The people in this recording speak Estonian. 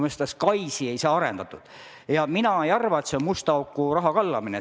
Mina ei arva, et see on musta auku raha kallamine.